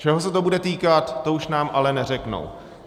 Čeho se to bude týkat, to už nám ale neřeknou.